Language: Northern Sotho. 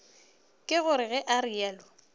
ke gore ge o realo